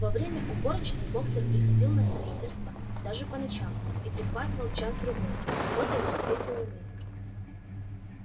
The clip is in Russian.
во время уборочной боксёр приходил на строительство даже по ночам и прихватывал час-другой работая при свете луны